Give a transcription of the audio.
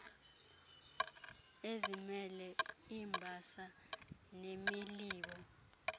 ezimele iimbasa nemilibo